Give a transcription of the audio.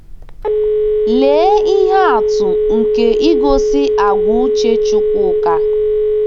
Lee ihe atụ nke igosi àgwà uche Chukwuka!